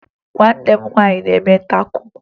Nwanne m nwaanyị na-eme tako